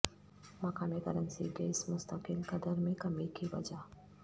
مقامی کرنسی کے اس مستقل قدر میں کمی کی وجہ